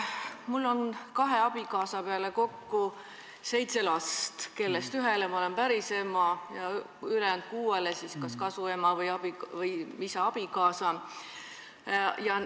Mul on kahe abikaasa peale kokku seitse last, kellest ühele ma olen päris ema ja ülejäänud kuuele kas siis kasuema või isa abikaasa.